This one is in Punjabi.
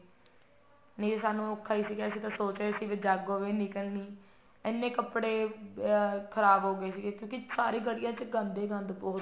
ਨਹੀਂ ਸਾਨੂੰ ਔਖਾ ਸੀਗਾ ਅਸੀਂ ਤਾਂ ਸੋਚ ਰਹੇ ਸੀ ਵੀ ਜਾਗੋ ਵੀ ਨਹੀਂ ਨਿਕਲਨੀ ਇੰਨੇ ਕੱਪੜੇ ਖ਼ਰਾਬ ਹੋਗੇ ਸੀਗੇ ਕਿਉਂਕਿ ਸਾਰੀ ਗਲੀਆਂ ਚ ਗੰਦ ਹੀ ਗੰਦ ਬਹੁਤ